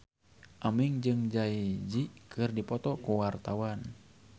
Aming jeung Jay Z keur dipoto ku wartawan